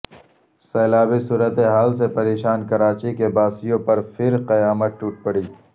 سیلابی صورتحال سے پریشان کراچی کے باسیوں پرپھرقیامت ٹوٹ پڑی